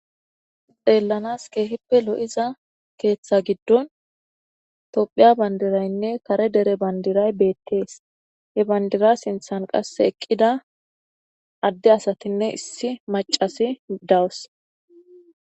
Xellanas kehippe lo"iza keththa gidon tophphiya bandiranne kare dere bandiray bettes he eqida bandira sinththan issi macaynne adde asay dossona